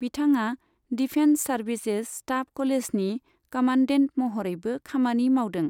बिथाङा defence services staff क'लेजनि commandant महरैबो खामानि मावदों।